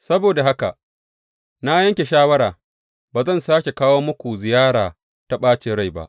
Saboda haka na yanke shawara ba zan sāke kawo muku ziyara ta ɓacin rai ba.